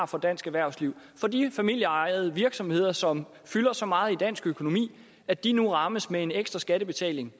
for dansk erhvervsliv og for de familieejede virksomheder som fylder så meget i dansk økonomi at de nu rammes med en ekstra skattebetaling